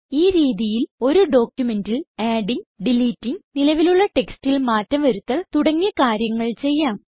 ഈ രീതിയിൽ ഒരു ഡോക്യുമെന്റിൽ ആഡിംഗ് ഡിലിറ്റിംഗ് നിലവിലുള്ള ടെക്സ്റ്റിൽ മാറ്റം വരുത്തൽ തുടങ്ങിയ കാര്യങ്ങൾ ചെയ്യാം